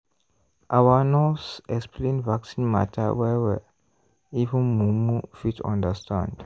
our nurse explain vaccine matter well-well even mumu fit understand.